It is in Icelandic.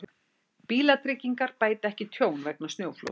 Bílatryggingar bæta ekki tjón vegna snjóflóðs